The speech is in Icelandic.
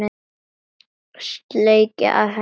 Sleikja af henni rykið.